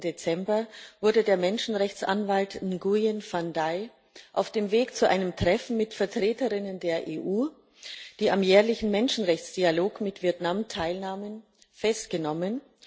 16. Dezember, wurde der Menschenrechtsanwalt Nguyen Van Dai auf dem Weg zu einem Treffen mit Vertreterinnen der EU, die am jährlichen Menschenrechtsdialog mit Vietnam teilnahmen, festgenommen.